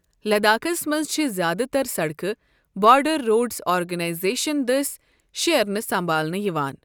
لداخس منز چھے٘ زیادٕ تر سڑکہٕ بارڈر روڈز آرگنائزیشن دٔسۍ شیرنہٕ سمبھالنہٕ یوان ۔